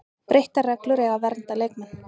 Breyttar reglur eiga að vernda leikmenn